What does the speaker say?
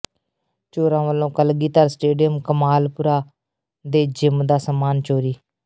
ਚੋਰਾਂ ਵੱਲੋਂ ਕਲਗੀਧਰ ਸਟੇਡੀਅਮ ਕਮਾਲਪੁਰਾ ਦੇ ਜਿੰਮ ਦਾ ਸਾਮਾਨ ਚੋਰੀ